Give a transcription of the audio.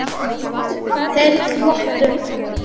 Þeir glottu.